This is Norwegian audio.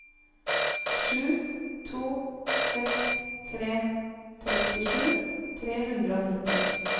sju to seks tre trettisju tre hundre og nitti